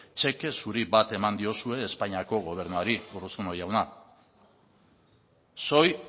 txeke zuri bat eman diozue espainiako gobernuari urruzuno jauna soy